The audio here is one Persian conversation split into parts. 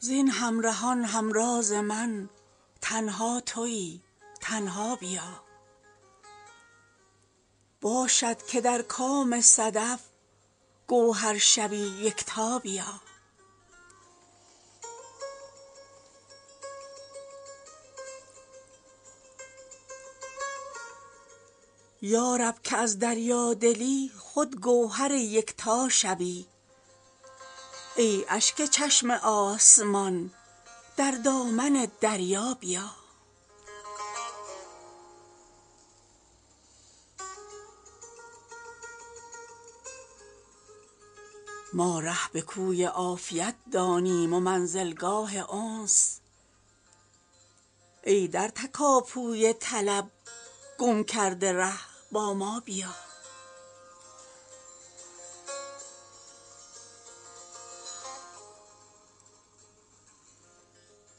زین همرهان همراز من تنها تویی تنها بیا باشد که در کام صدف گوهر شوی یکتا بیا یارب که از دریادلی خود گوهر یکتا شوی ای اشک چشم آسمان در دامن دریا بیا ما ره به کوی عافیت دانیم و منزلگاه انس ای در تکاپوی طلب گم کرده ره با ما بیا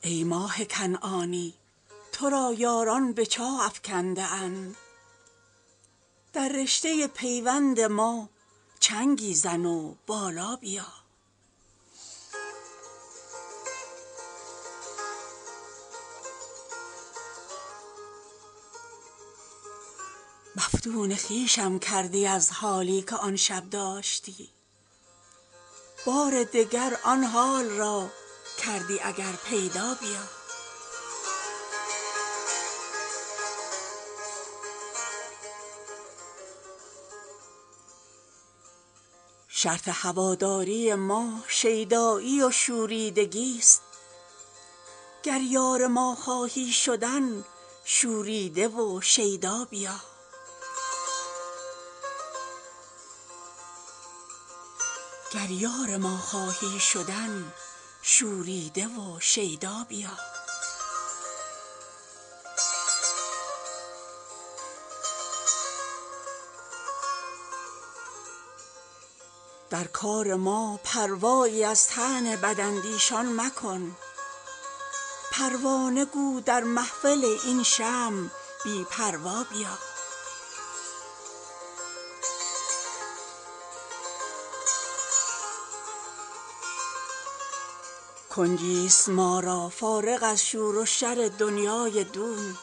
ای ماه کنعانی ترا یاران به چاه افکنده اند در رشته پیوند ما چنگی زن و بالا بیا مفتون خویشم کردی از حالی که آن شب داشتی بار دگر آن حال را کردی اگر پیدا بیا شرط هواداری ما شیدایی و شوریدگی ست گر یار ما خواهی شدن شوریده و شیدا بیا در کار ما پروایی از طعن بداندیشان مکن پروانه گو در محفل این شمع بی پروا بیا دنیا و مافیها اگر نااهلت ارزانی کند با سرگرانی بگذر از دنیا و مافیها بیا کنجی است ما را فارغ از شور و شر دنیای دون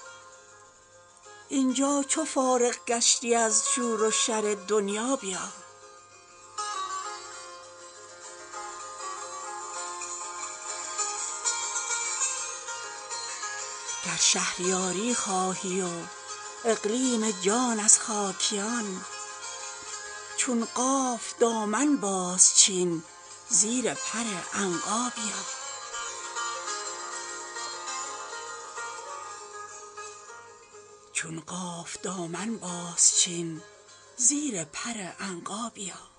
اینجا چو فارغ گشتی از شور و شر دنیا بیا راه خرابات است این بی پا شدی با سر برو یعنی گرفته شعله شوقت به سر تا پا بیا گر شهریاری خواهی و اقلیم جان از خاکیان چون قاف دامن باز چین زیر پر عنقا بیا